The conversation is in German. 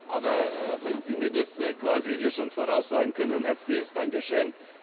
Aber wenn Sie mir das quasi hier schon voraussagen können, ein herzliches Dankeschön.